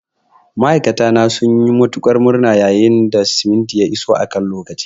Ma'aikata na sun yi matuƙar murna yayin da simintin ya iso a kan lokaci.